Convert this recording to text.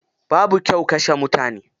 Babu kyau kashe mutane.